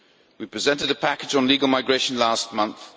We presented a package on legal migration last month